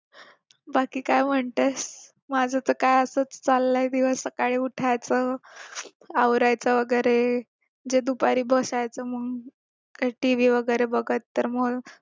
बाकी काय म्हणतेस माझा तर काय असाच चालाय दिवस सकाळी उठायचं आवरायचं वगैरे जे दुपारी बसायचं मग TV वगैरे बघत